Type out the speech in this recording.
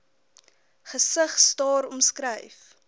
gesig staar omskryf